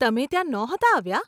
તમે ત્યાં નહોતાં આવ્યાં?